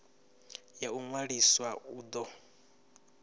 ya u ṅwalisa u do